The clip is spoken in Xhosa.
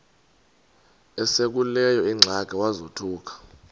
esekuleyo ingxaki wazothuka